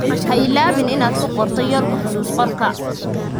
Ha iloobin inaad ku qorto yoolalka xusuus-qorka.